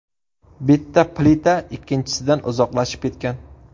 Bitta plita ikkinchisidan uzoqlashib ketgan.